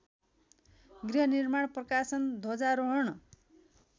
गृहनिर्माण प्रकाशन ध्वजारोहण